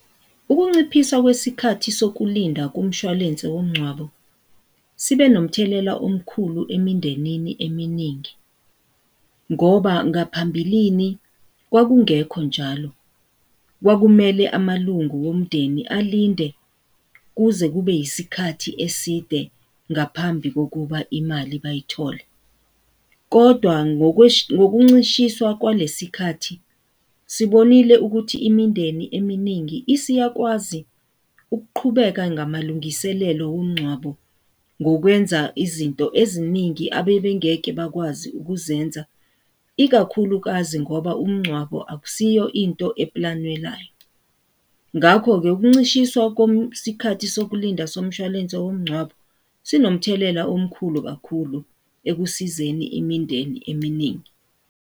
Ukunciphisa kwesikhathi sokulinda kumshwalense womngcwabo sibe nomthelela omkhulu emindenini eminingi ngoba ngaphambilini kwakungekho njalo. Kwakumele amalungu omndeni alinde kuze kube isikhathi eside ngaphambi kokuba imali bayithole. Kodwa ngokuncishiswa kwalesi sikhathi, sibonile ukuthi imindeni eminingi isiyakwazi ukuqhubeka ngamalungiselelo womngcwabo ngokwenza izinto eziningi abebe ngeke bakwazi ukuzenza ikakhulukazi ngoba umngcwabo akusiyo into eplanwelayo, ngakho-ke ukuncishiswa sikhathi sokulinda somshwalense womngcwabo sinomthelela omkhulu kakhulu ekusizeni imindeni eminingi.